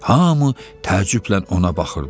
Hamı təəccüblə ona baxırdı.